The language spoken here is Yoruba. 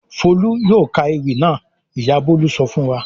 "Folú yóò ka ewì náà!" Ìyá Bọ̀lá sọ fún wa.